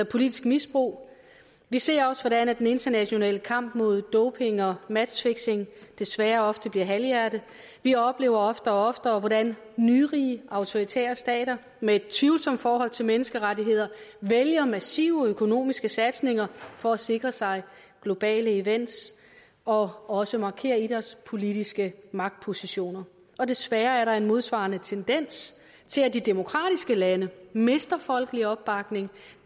politisk misbrug vi ser også hvordan den internationale kamp mod doping og matchfixing desværre ofte bliver halvhjertet vi oplever oftere og oftere hvordan nyrige autoritære stater med et tvivlsomt forhold til menneskerettigheder vælger massive økonomiske satsninger for at sikre sig globale events og også markere idrætspolitiske magtpositioner og desværre er der en modsvarende tendens til at de demokratiske lande mister folkelig opbakning